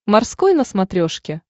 морской на смотрешке